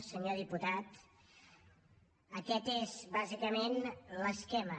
senyor diputat aquest és bàsicament l’esquema